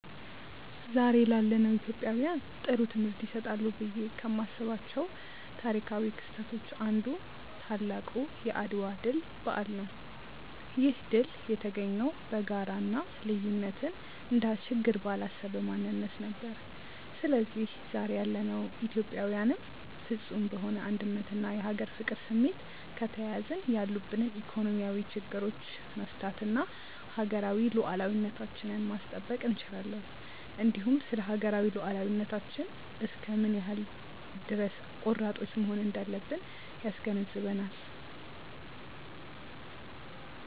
ዛሬ ላለነው ኢትዮጵያውያን ጥሩ ትምህርት ይሰጣሉ ብዬ ከማስባቸው ታሪካው ክስተቶች አንዱ ታላቁ የአድዋ ድል በዓል ነው። ይህ ድል የተገኘው በጋራ እና ልዩነትን እንደ ችግር ባላሰበ ማንነት ነበር። ስለዚህ ዛሬ ያለነው ኢትዮጵያዊያንም ፍፁም በሆነ አንድነት እና የሀገር ፍቅር ስሜት ከተያያዝን ያሉብንን ኢኮኖሚያዊ ችግሮቻች መፍታት እና ሀገራዊ ሉዓላዊነታችንን ማስጠበቅ እንችላለን። እንዲሁም ስለሀገራዊ ሉዓላዊነታችን እስከ ምን ያክል ድረስ ቆራጦች መሆን እንዳለብን ያስገነዝበናል።